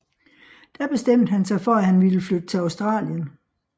Da bestemte han sig for at han ville flytte til Australien